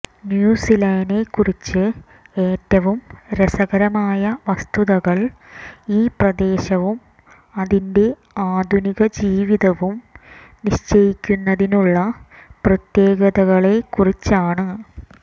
ന്യൂസീലനെക്കുറിച്ച് ഏറ്റവും രസകരമായ വസ്തുതകൾ ഈ പ്രദേശവും അതിന്റെ ആധുനിക ജീവിതവും നിശ്ചയിക്കുന്നതിനുള്ള പ്രത്യേകതകളെക്കുറിച്ചാണ്